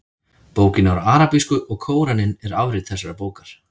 Bókin er á arabísku og Kóraninn er afrit þessarar bókar.